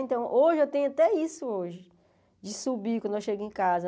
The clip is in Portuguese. Então, hoje eu tenho até isso hoje, de subir quando eu chego em casa.